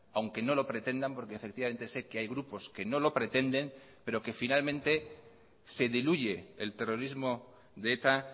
aunque no lo pretendan porque efectivamente sé que hay grupos que no lo pretenden pero que finalmente se diluye el terrorismo de eta